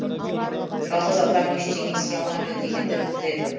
жалғыз адам ештеңе істей алмайды дегенді білдіреді